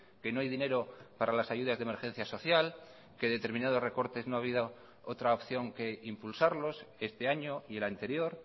que no hay dinero para las ayudas de emergencia social que determinados recortes no ha habido otra opción que impulsarlos este año y el anterior